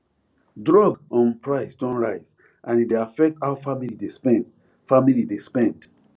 drug um price don rise and e dey affect how family dey spend family dey spend